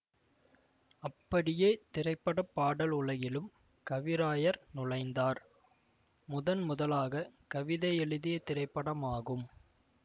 அப்படியே திரைப்பட பாடல் உலகிலும் கவிராயர் நுழைந்தார் முதன்முதலாக கவிதை எழுதிய திரைப்படம் ஆகும்